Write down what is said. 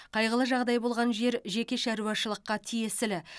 қайғылы жағдай болған жер жеке шаруашылыққа тиесілі